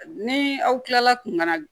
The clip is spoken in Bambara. Ni aw kilala kun ka na